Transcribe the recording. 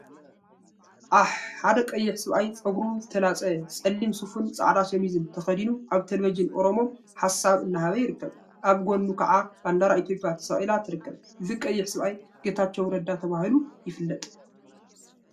አሕ!…ሓደ ቀይሕ ሰብአይ ፀጉሩ ዝተላፀየ ፀሊም ሱፍን ፃዕዳ ሸሚዝን ተከዲኑ አብ ቴለቪዠን ኦሮሞ ሓሳብ እናሃበ ይርከብ፡፡ አብ ጎኑ ከዓ ባንዴራ ኢትዮጵያ ተሰቂላ ትርከብ፡፡ እዚ ቀይሕ ሰብአይ ጌታቸው ረዳ ተባሂሉ ይፍለጥ፡፡